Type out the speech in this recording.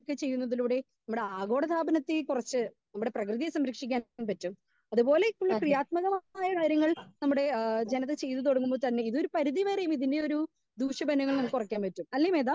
Speaker 2 ചെയ്യുന്നതിലൂടെ നമ്മളെ ആഗോള താപനത്തെ കുറച്ച് നമ്മുടെ പ്രെകൃതിയെ സംരക്ഷിക്കാൻ പറ്റും. അത് പോലെ ക്കുള്ള ക്രിയാത്മകമായ കാര്യങ്ങൾ നമ്മുടെജനത ചെയ്തു തുടങ്ങുമ്പോ തന്നെ ഇത് ഒര്‌ പരുതി വരെ ഇതിനെ ഒര്‌ ദൂഷ ഫലങ്ങൾ നമുക്ക് കുറക്കാൻ പറ്റും അല്ലേ മേത?